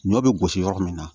Ɲɔ bɛ gosi yɔrɔ min na